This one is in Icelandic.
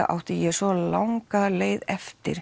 átti ég svo langa leið eftir